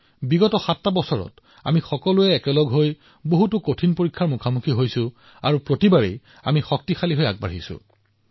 এই ৭ বছৰত আমি বহুতো কঠিন পৰীক্ষাত একেলগে অৱতীৰ্ণ হৈছো আৰু প্ৰতিবাৰেই আমি শক্তিশালী হৈ ওলাই আহিছো